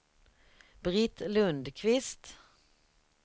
Britt Lundqvist